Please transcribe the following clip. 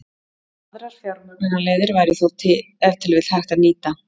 Aðrar fjármögnunarleiðir væri þó ef til vill hægt að nýta.